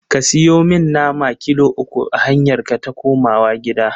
Ka siyo mi nama kilo uku a hanyarka ta komawa gida.